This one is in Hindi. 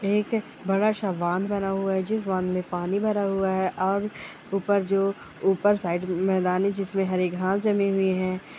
एक बड़ा सा बांध बना हुआ हैं जिस बांध मे पानी भरा हुआ है और ऊपर जो ऊपर साइड मैदान है जिसमे हरे घास जमे हुए हैं।